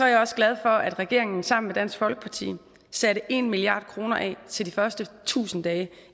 jeg også glad for at regeringen sammen med dansk folkeparti satte en milliard kroner af til de første tusind dage